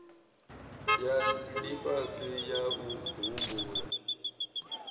ya lifhasi ya u humbula